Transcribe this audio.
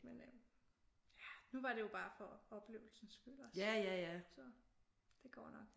Men øh nu var det jo bare for oplevelsens skyld også så det går nok